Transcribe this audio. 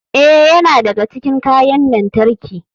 Ee, yana daga cikin kayan lantarki.